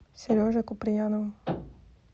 сережей куприяновым